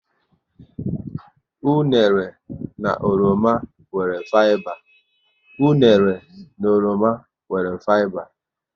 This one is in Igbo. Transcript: Unere na oroma nwere fiba